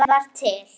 að ég var til.